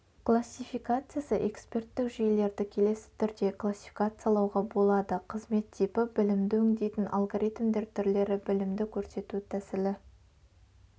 классификациясы эксперттік жүйелерді келесі түрде классификациялауға болады қызмет типі білімді өңдейтін алгоритмдер түрлері білімді көрсету тәсілі